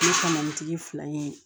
Ne kama o tigi fila ye